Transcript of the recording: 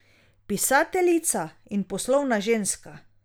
Pisateljica in poslovna ženska.